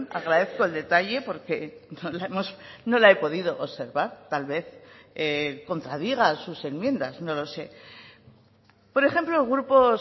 agradezco el detalle porque no la he podido observar tal vez contradiga a sus enmiendas no lo sé por ejemplo grupos